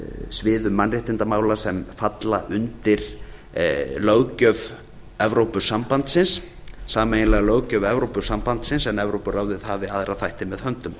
sviðum mannréttindamála sem falla undir löggjöf evrópusambandsins sameiginlega löggjöf evrópusambandsins en evrópuráðið hafi aðra þætti með höndum